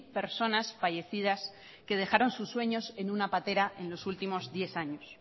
personas fallecidas que dejaron sus sueños en una patera en los últimos diez años